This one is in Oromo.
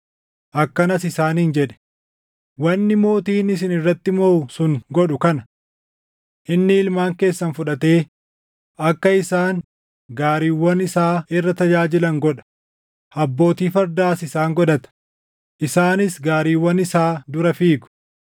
Akkanas isaaniin jedhe; “Wanni mootiin isin irratti mooʼu sun godhu kana: Inni ilmaan keessan fudhatee akka isaan gaariiwwan isaa irra tajaajilan godha; abbootii fardaas isaan godhata; isaanis gaariiwwan isaa dura fiigu.